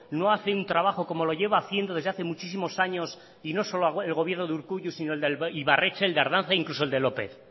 no hace un trabajo como lo lleva haciendo desde hace muchísimo años y no solo el gobierno de urkullu sino el de ibarretxe el de ardanza e incluso el de lópez